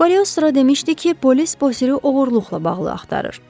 Kaliostro demişdi ki, polis Bosiri oğurluqla bağlı axtarır.